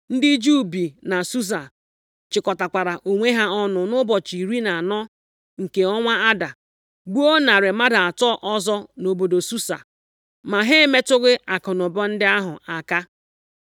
Ndị Juu bi na Susa chịkọtakwara onwe ha ọnụ nʼụbọchị iri na anọ nke ọnwa Ada, gbuo narị mmadụ atọ ọzọ nʼobodo Susa. Ma ha emetụghị akụnụba ndị ahụ aka.